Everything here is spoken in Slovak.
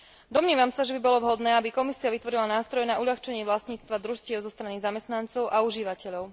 Domnievam sa, že by bolo vhodné, aby Komisia vytvorila nástroj na uľahčenie vlastníctva družstiev zo strany zamestnancov a užívateľov.